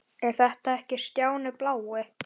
Er þetta ekki Stjáni blái?!